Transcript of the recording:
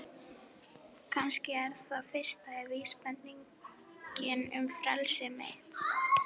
Kannski er það fyrsta vísbendingin um frelsi mitt.